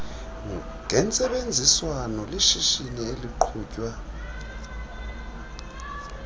gentsebenziswano lishishini eliqhutywa